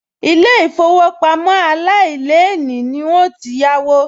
Ilé-ìfowópamọ́ aláìlélèé ni n óò yáwó